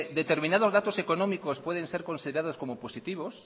determinados datos económicos pueden ser considerados como positivos